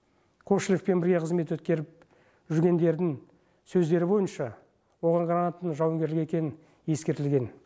сергей кошелевпен бірге қызмет өткеріп жүргендердің сөздері бойынша оған гранатаның жауынгерлік екендігі ескертілген